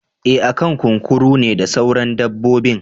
Eh akan kunkuru ne da sauran dabbobin.